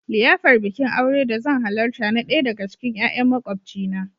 liyafar Bikin aure da zan halarta na daya daga cikin 'ya'yan makwabcina.